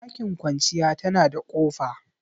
Ɗakin kwanciya tana da kofa